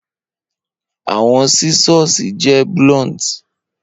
Awọn scissors jẹ blunt